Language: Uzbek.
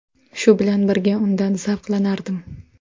Shu bilan birga undan zavqlanardim.